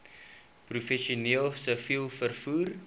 professioneel siviel vervoer